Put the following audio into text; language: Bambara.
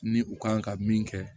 Ni u kan ka min kɛ